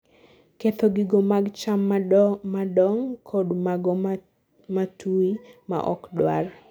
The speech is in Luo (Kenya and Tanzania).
ketho gigo mag cham madong kod mago matui maok dwar